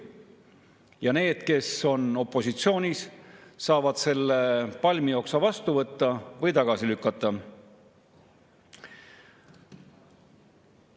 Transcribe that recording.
Ja need, kes on opositsioonis, saavad selle palmioksa vastu võtta või tagasi lükata.